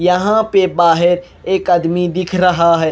यहाँ पे बाहेर एक अदमी दिख रहा हैं।